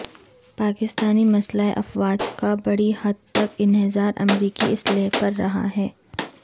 پاکستانی مسلح افواج کا بڑی حد تک انحصار امریکی اسلحے پر رہا ہے